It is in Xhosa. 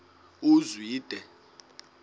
uzwide